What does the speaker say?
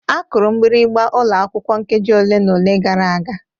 Akuru mgbịrịgba ụlọ akwụkwọ nkeji ole na ole gara aga.